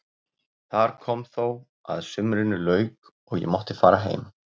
Þar kom þó að sumrinu lauk og ég mátti fara heim.